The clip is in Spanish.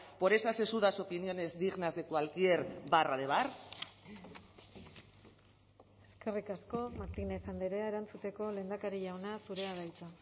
por esas sesudas opiniones dignas de cualquier barra de bar eskerrik asko martínez andrea erantzuteko lehendakari jauna zurea da hitza